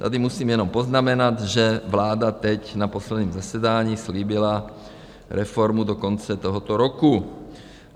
Tady musím jenom poznamenat, že vláda teď na posledním zasedání slíbila reformu do konce tohoto roku.